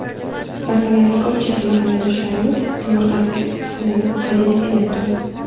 Masalan, ko‘pchilik mahalladoshlarimiz tomorqasidagi issiqxonani xazinaga aylantirgan.